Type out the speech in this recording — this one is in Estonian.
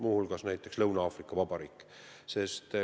Selline riik on ka Lõuna-Aafrika Vabariik.